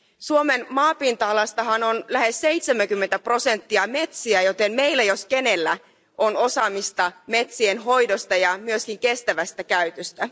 Suomen maapinta alasta on lähes 70 prosenttia metsiä, joten meillä jos kenellä on osaamista metsien hoidosta ja myöskin kestävästä käytöstä.